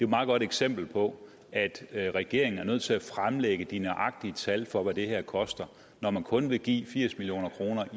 meget godt eksempel på at regeringen er nødt til at fremlægge de nøjagtige tal for hvad det her koster og når man kun vil give firs million kroner